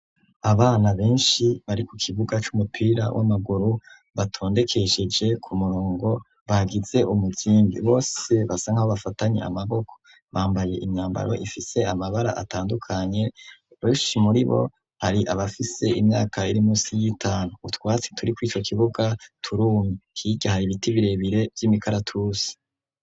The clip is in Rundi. Abana benshi bari ku kibuga c'umupira w'amaguru batondekesheje ku murongo bagitse umukimbi bose basa nkaho bafatanye amaboko bambaye imyambaro ifise amabara atandukanye rush muri bo hari abafise imyaka iri munsi y'itanu utwatsi turi ku ico kibuga turumi kigiha ibiti birebire by'imikaratusi.